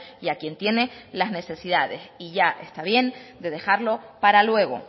y a quien tiene las necesidades y ya está bien de dejarlo para luego